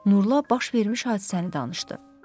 Nurla baş vermiş hadisəni danışdı.